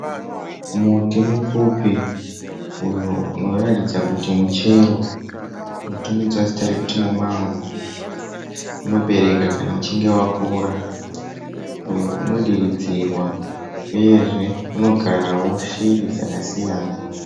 Muti mupfupi uyo unoratidza kuti muchero unotumidzwa zita rekuti mumango. Unobereka kana uchinge wakura uyo unodiridzirwa uyezve unogarawo shiri dzakasiyana.